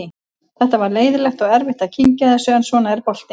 Þetta var leiðinlegt og erfitt að kyngja þessu en svona er boltinn.